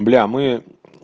бля мы